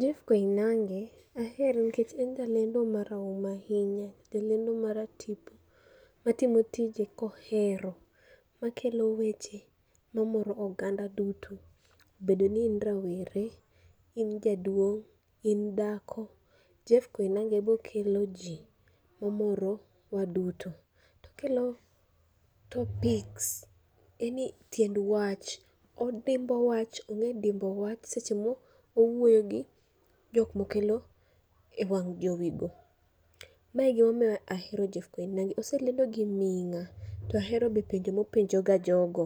Jeff Koinange ahere nikech en jalendo marahuma ahinya, jalendo maratipo ma timo tije kohero. Ma kelo weche ma moro oganda duto, bedo ni in rawere, in jaduong', in dhako, Jeff Koinange bokelo ji omorowa duto. Okelo topics, yani tiend wach, odimbo wach ong'e dimbo wach seche mowuoyo gi jok mokelo e wang' jowi go. Ma e gimomiyo ahero Jeff Koinange oselendo gi ming'a, to ahero be penjo mopenja ga jogo,